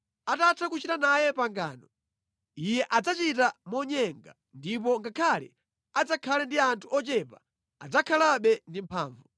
Atatha kuchita naye pangano, iye adzachita monyenga, ndipo ngakhale adzakhale ndi anthu ochepa adzakhalabe ndi mphamvu.